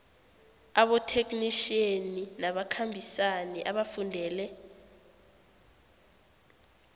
abotheknitjhiyeni nabakhambisani abafundele